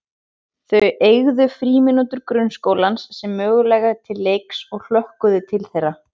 Þau eygðu frímínútur grunnskólans sem möguleika til leiks og hlökkuðu til þeirra.